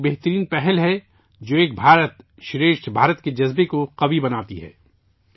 یہ ایک بہترین پہل ے جو 'ایک بھارت شریٹھ بھارت' کے جذبے کو طاقتور بناتی ہے